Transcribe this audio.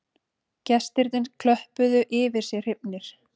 Gestirnir klöppuðu yfir sig hrifnir